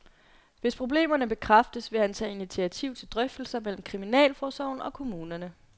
Hvis problemerne bekræftes, vil han tage initiativ til drøftelser mellem kriminalforsorgen og kommunerne.